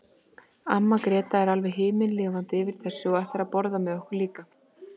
Amma Gréta er alveg himinlifandi yfir þessu og ætlar að borða með okkur líka.